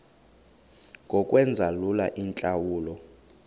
ngokwenza lula iintlawulo